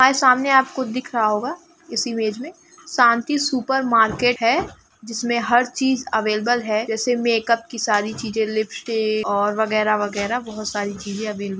यहाँ सामने आपको दिख रहा होगा इस इमेज में शांति सुपर मार्केट है जिसमें हर चीज़ अवेलेबल है जैसे मेकअप की सारी चीजें लिपस्टिक और वगेरा- वगेरा बहुत साड़ी चीज़ें अवेले --